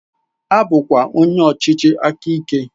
A bụkwala onye ọchịchị aka ike!.